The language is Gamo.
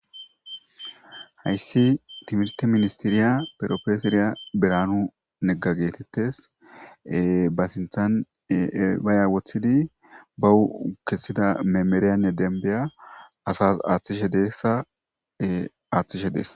Haysi timirte ministeriya proffeseriya Biranu nega getetes ba sinthan baya wothidi ba kesida memerane denbiya asas athishe des